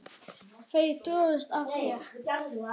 Má ég fara í partí?